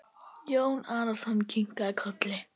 Jón Arason kinkaði kolli.